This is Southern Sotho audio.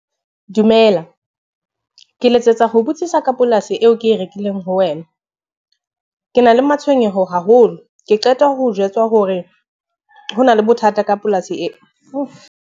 Dumela, ke letsetsa ho botsisa ka polasi eo ke e rekileng ho wena. Ke na le matshwenyeho haholo, ke qeta ho jwetswa hore ho na le bothata ka polasi eo .